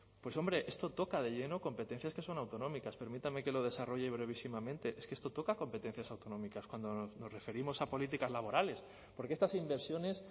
pues hombre esto toca de lleno competencias que son autonómicas permítame que lo desarrolle brevísimamente es que esto toca competencias autonómicas cuando nos referimos a políticas laborales porque estas inversiones